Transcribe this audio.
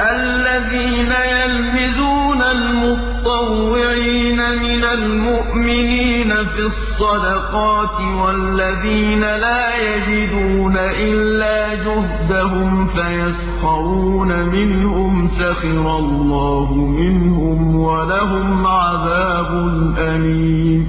الَّذِينَ يَلْمِزُونَ الْمُطَّوِّعِينَ مِنَ الْمُؤْمِنِينَ فِي الصَّدَقَاتِ وَالَّذِينَ لَا يَجِدُونَ إِلَّا جُهْدَهُمْ فَيَسْخَرُونَ مِنْهُمْ ۙ سَخِرَ اللَّهُ مِنْهُمْ وَلَهُمْ عَذَابٌ أَلِيمٌ